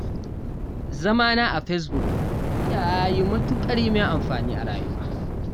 Zamana a Facebook ya yi matuƙar yi min amfani a rayuwa.